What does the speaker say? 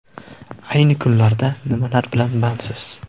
A yni kunlarda nimalar bilan bandsiz?